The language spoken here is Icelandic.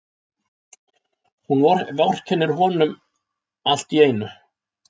Hún vorkennir honum alltíeinu.